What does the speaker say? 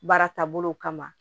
Baara taabolo kama